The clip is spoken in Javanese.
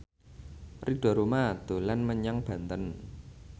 Ridho Roma dolan menyang Banten